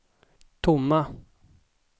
tomma